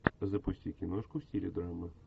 запусти киношку в стиле драмы